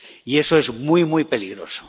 Y eso es muy, muy peligroso.